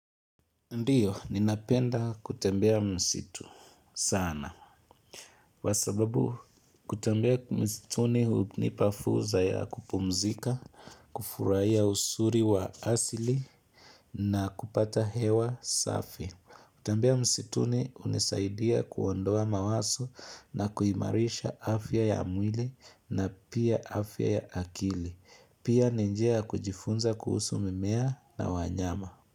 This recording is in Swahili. Ndiyo, ninapenda kutembea msitu sana. kWasababu kutembea msituni hunipafursa ya kupumzika, kufurahia uszri wa asili na kupata hewa safi. Kutembea msituni hunisaidia kuondoa mawazo na kuimarisha afya ya mwili na pia afya ya akili. Pia ninjia ya kujifunza kuhusu mimea na wanyama.